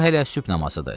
Bu hələ sübh namazıdır.